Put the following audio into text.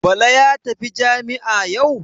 Bala ya tafi jami'a yau?